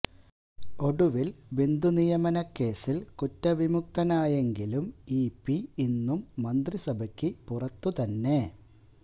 ഒടുവിൽ ബന്ധുനിയമന കേസിൽ കുറ്റവിമുക്തനായെങ്കിലും ഇപി ഇന്നും മന്ത്രിസഭയ്ക്ക് പുറത്തു തന്നെ